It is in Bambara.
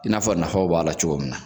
I n'a fɔ nafaw b'a la cogo min na